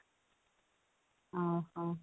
ଅ ହଁ